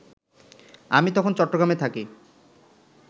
আমি তখন চট্টগ্রামে থাকি